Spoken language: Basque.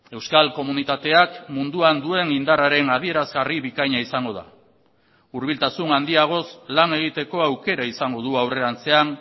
euskal komunitateak munduan duen indarraren adierazgarri bikaina izango da hurbiltasun handiagoz lan egiteko aukera izango du aurrerantzean